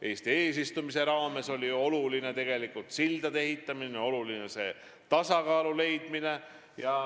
Eesti eesistumise raames oli oluline sildade ehitamine ja tasakaalu leidmine.